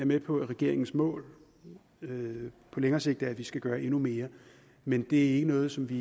med på at regeringens mål på længere sigt er at vi skal gøre endnu mere men det er ikke noget som vi